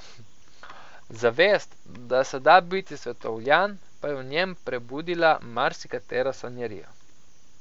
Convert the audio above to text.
Zavest, da se da biti svetovljan, pa je v njem prebudila marsikatero sanjarijo.